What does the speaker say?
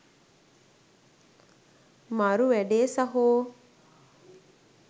මරු වැඩේ සහෝ.